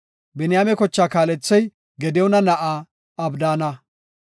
Biniyaame kochaa kaalethey Gadiyoona na7aa Abdaana.